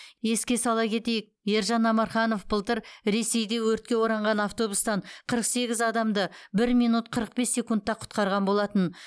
еске сала кетейік ержан амарханов былтыр ресейде өртке оранған автобустан қырық сегіз адамды бір минут қырық бес секундта құтқарған болатын